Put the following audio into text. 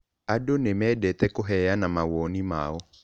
Andũ nĩ mendete kũheana mawoni mao.